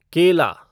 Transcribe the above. केला